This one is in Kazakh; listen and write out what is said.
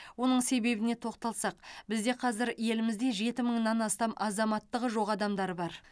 оның себебіне тоқталсақ бізде қазір елімізде жеті мыңнан астам азаматтығы жоқ адамдар бар